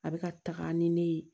A bɛ ka taga ni ne ye